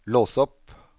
lås opp